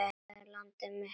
Þetta er landið mitt.